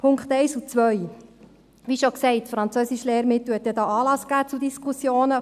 Zu den Punkten 1 und 2: Wie schon gesagt, gab das Französischlehrmittel zu Recht Anlass zu Diskussionen.